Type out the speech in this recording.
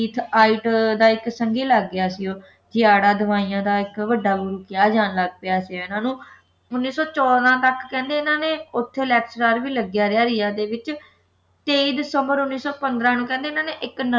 ਇੱਕ ਆਇਤ ਦਾ ਇੱਕ ਸੰਘੀ ਲੱਗ ਗਿਆ ਸੀ ਉਹ ਦਵਾਈਆਂ ਦਾ ਇੱਕ ਵੱਢਾ ਗੁਰੂ ਕਿਹਾ ਜਾਣ ਲੱਗ ਸੀ ਇਨ੍ਹਾਂ ਨੂੰ ਉੱਨੀ ਸੌ ਚੌਦਾਂ ਤੱਕ ਕਹਿੰਦੇ ਆ ਇਨ੍ਹਾਂ ਨੇ ਉੱਥੇ lecturer ਰਿਹਾ ਰਿਆ ਦੇ ਵਿੱਚ ਤੇਈ ਦਿਸੰਬਰ ਉੱਨੀ ਸੌ ਪੰਦਰਾਂ ਨੂੰ ਕਹਿੰਦੇ ਆ ਇਨ੍ਹਾਂ ਨੇ ਇੱਕ